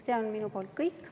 See on minu poolt kõik.